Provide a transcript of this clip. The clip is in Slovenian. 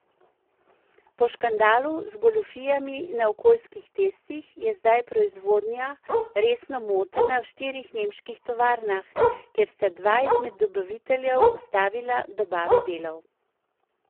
Po škandalu z goljufijami na okoljskih testih je zdaj proizvodnja resno motena v štirih nemških tovarnah, ker sta dva izmed dobaviteljev ustavila dobave delov.